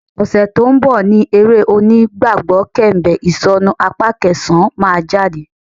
Ọ̀sẹ̀ tó ń bọ̀ ni eré onígbàgbọ́ Kẹ̀m̀bẹ̀ Ìsọ̀nu apá kẹsàn-án máa jáde